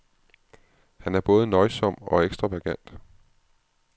Han er både nøjsom og ekstravagant.